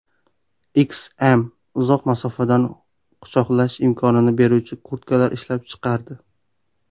H&M uzoq masofadan quchoqlash imkonini beruvchi kurtkalar ishlab chiqardi.